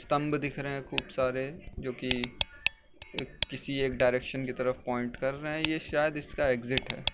स्तम्भ दिख रहे है खूब सारे जो कि एक किसी एक डायरेक्शन की तरफ पॉइंट कर रहे है ये शायद इसका एग्जिट है।